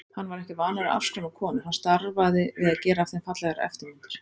Hann var ekki að afskræma konur, hann starfaði við að gera af þeim fallegar eftirmyndir.